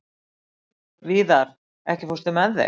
Víðar, ekki fórstu með þeim?